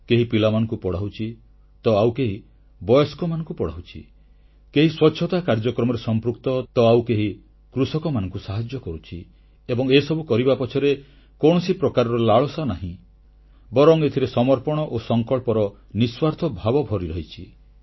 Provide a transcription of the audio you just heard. କେହି ପିଲାମାନଙ୍କୁ ପଢ଼ାଉଛି ତ ଆଉ କେହି ବୟସ୍କମାନଙ୍କୁ ପଢ଼ାଉଛି କେହି ସ୍ୱଚ୍ଛତା କାର୍ଯ୍ୟକ୍ରମରେ ସମ୍ପୃକ୍ତ ତ ଆଉ କେହି କୃଷକମାନଙ୍କୁ ସାହାଯ୍ୟ କରୁଛି ଏବଂ ଏସବୁ କରିବା ପଛରେ କୌଣସି ପ୍ରକାରର ଲାଳସା ନାହିଁ ବରଂ ଏଥିରେ ସମର୍ପଣ ଓ ସଂକଳ୍ପର ନିଃସ୍ୱାର୍ଥ ଭାବ ଭରିରହିଛି